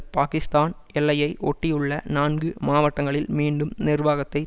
பாகிஸ்தான் எல்லையை ஒட்டியுள்ள நான்கு மாவட்டங்களில் மீண்டும் நிர்வாகத்தை